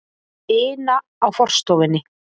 ina á forstofunni.